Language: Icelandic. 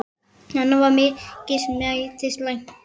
Nanna var mikils metinn læknir.